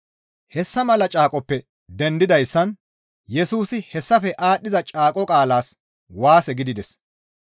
Hessa mala caaqoppe dendidayssan Yesusi hessafe aadhdhiza caaqo qaalas waase gidides.